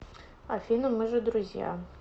афина мы же друзья